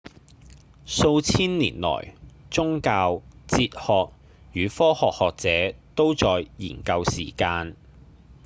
數千年來宗教、哲學與科學學者都在研究時間